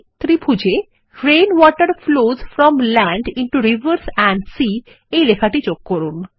ত্রিভুজে rain water flows from land into rivers and sea এই লেখাটি যোগ করুন